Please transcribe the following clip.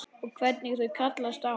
Og hvernig þau kallast á.